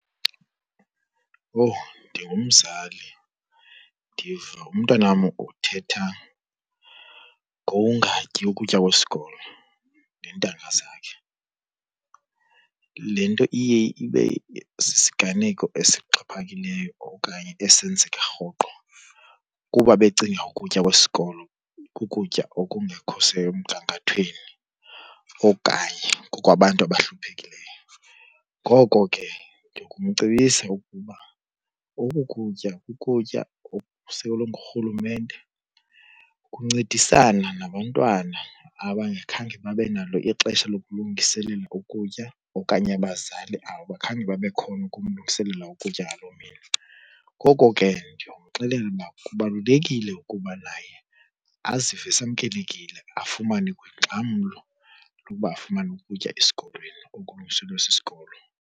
Owu ndingumzali ndiva umntanam uthetha ngokungatyi ukutya kwesikolo neentanga zakhe. Le nto iye ibe sisiganeko esixhaphakileyo okanye esenzeka rhoqo kuba becinga ukutya kwesikolo kukutya okungekho semgangathweni okanye kokwabantu abahluphekileyo. Ngoko ke ndingamcebisa ukuba oku kutya kukutya okusekelwe ngurhulumente, kuncedisana nabantwana abangakhange babe nalo ixesha lokulungiselela ukutya okanye abazali abakhange babe khona ukumlungiselela ukutya ngaloo mini. Ngoko ke ndiyomxelela uba kubalulekile ukuba naye azive esamkelekile afumane kwiingxamlo yokuba afumane ukutya esikolweni okulungiselwe sisikolo.